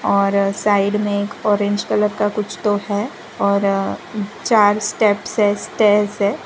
और साइड में एक कलर का कुछ तो है और चार स्टेप्स है स्टेयरर्स है।